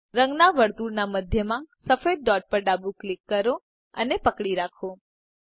રંગના વર્તુળના મધ્યમાં સફેદ ડોટ પર ડાબું ક્લિક કરો અને પકડી રાખો